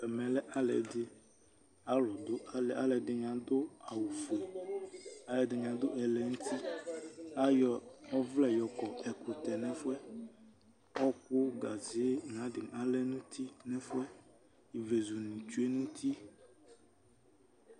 Ɛmɛ lɛ alɩ dɩ,alʋ dʋ alɩɛ, alʋɛdɩnɩ adʋ awʋ fue, alʋɛdɩnɩ adʋ ɛlɛnutiAyɔ ɔvlɛ yɔkɔ ɛkʋtɛ nɛfʋɛ: ɔkʋ ,gaze nayadɩ alɛ nuti nɛfʋɛ, ivlezu nɩ tsue nuti